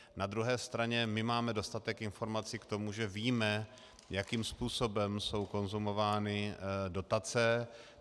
Na druhé straně my máme dostatek informací k tomu, že víme, jakým způsobem jsou konzumovány dotace.